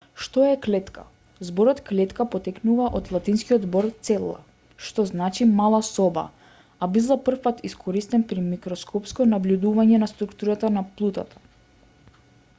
што е клетка зборот клетка потекнува од латинскиот збор cella што знали мала соба а бил за првпат искористен при микроскопско набљудување на структурата на плутата